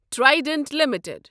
Trident limited